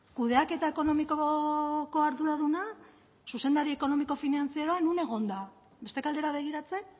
kudeaketa ekonomikoko arduraduna zuzendari ekonomiko finantzieroa non egon da beste aldera begiratzen